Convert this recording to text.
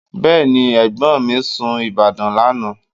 Bẹ́ẹ̀ni, ẹ̀gbọ́n mi sun Ìbàdàn lánàá